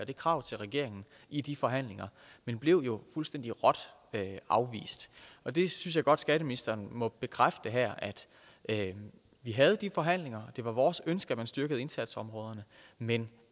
det krav til regeringen i de forhandlinger men blev jo fuldstændig råt afvist og det synes jeg godt skatteministeren må bekræfte her altså at vi havde de forhandlinger og at det var vores ønske at man styrkede indsatsområderne men